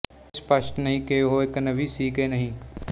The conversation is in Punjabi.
ਇਹ ਸਪਸ਼ਟ ਨਹੀਂ ਕਿ ਉਹ ਇੱਕ ਨਬੀ ਸੀ ਕਿ ਨਹੀਂ